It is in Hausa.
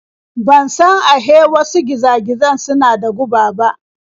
Ban san ahe wasu giza-gizan suna da guba ba.